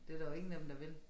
Det der jo ingen af dem der vil